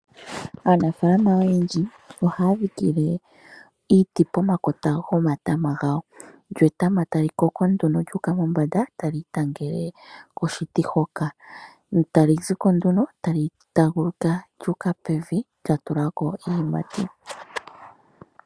Aanafaalama oyendji ohaya dhike iiti pomakota gomatama gawo, lyo etama tali koko nduno lyu uka mombanda tali idhingile nduno koshiti hoka tali zi ko nduno tali taaguluka lyu uka pevi lya tulako iiyimati.